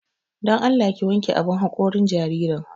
Don Allah ki wanke abun haƙorin jaririn.